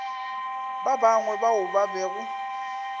ba bangwe bao ba bego